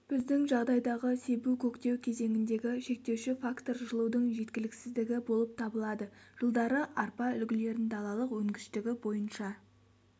біздің жағдайдағы себу-көктеу кезеңіндегі шектеуші фактор жылудың жеткіліксіздігі болып табылады жылдары арпа үлгілерін далалық өнгіштігі бойынша